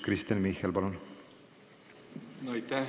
Kristen Michal, palun!